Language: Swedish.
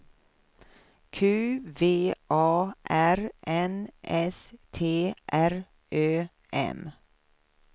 Q V A R N S T R Ö M